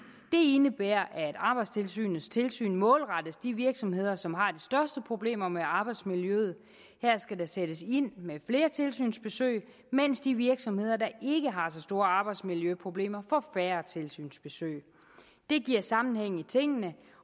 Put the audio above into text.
indebærer at arbejdstilsynets tilsyn målrettes de virksomheder som har de største problemer med arbejdsmiljøet her skal der sættes ind med flere tilsynsbesøg mens de virksomheder der ikke har så store arbejdsmiljøproblemer får færre tilsynsbesøg det giver sammenhæng i tingene